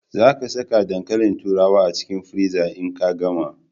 Za ka sa dankalin turawar a cikin friza in ka gama.